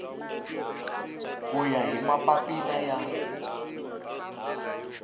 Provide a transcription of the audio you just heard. ku ya hi mapapila ya